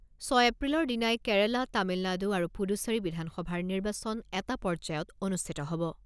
ছয় এপ্ৰিলৰ দিনাই কেৰালা, তামিলনাডু আৰু পুডুচেৰী বিধানসভাৰ নিৰ্বাচন এটা পৰ্যায়ত অনুষ্ঠিত হ'ব।